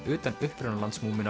utan upprunalands